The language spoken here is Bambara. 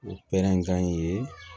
O pɛrɛn kan in ye